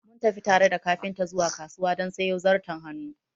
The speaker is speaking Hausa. Mun tafi tare da kafinta zuwa kasuwa don sayo zarton hannu